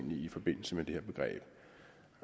i forbindelse med det